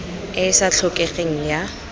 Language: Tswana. e e sa tlhokegeng ya